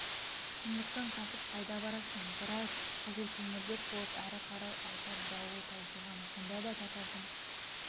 шындықтан қашып қайда барасың біраз қызылкеңірдек болып ары қарай айтар дауы таусылған сонда да татардың